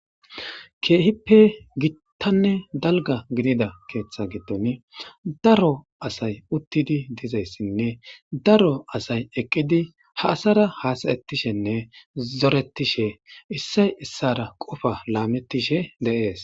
Keehippe gittanne dalga gidida keeththa gitton daro asay uttidi dizayssinne daro asay eqqidi ha asara hasayettishenne zoretishe issay issara qofa laamettishe deees.